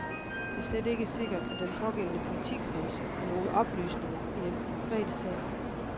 Det er slet ikke sikkert, at den pågældende politikreds har nogle oplysninger i den konkrete sag.